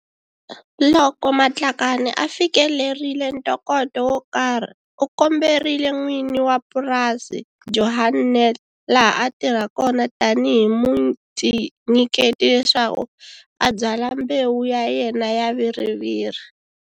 Loko Matlakane a fikelerile ntokoto wo karhi u komberile n'wini wa purasi, Johan Nel, laha a tirha kona tanihi mutinyiketi leswaku a byala mbewu ya yena ya viriviri.